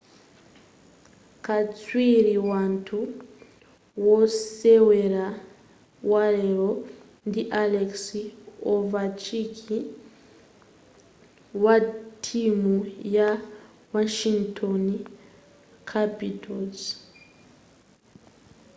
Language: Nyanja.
katswiri wathu wosewera walero ndi alex ovechkin wa timu ya washington capitals